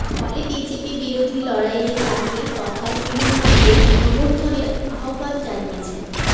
ফলে বিজেপি বিরোধী লড়াইয়ে তাঁকে তথা তৃণমূলকেই সমর্থনের আহ্বান জানিয়েছেন